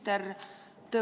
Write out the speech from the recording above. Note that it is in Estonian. Kohaloleku kontroll.